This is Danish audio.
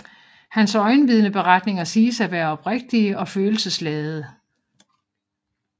Hans øjenvidneberetninger siges at være oprigtige og følelsesladede